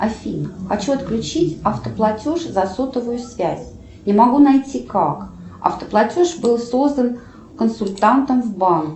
афина хочу отключить автоплатеж за сотовую связь не могу найти как автоплатеж был создан консультантом в банке